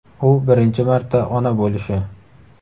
U birinchi marta ona bo‘lishi.